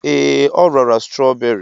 Ee, o rara strawberry.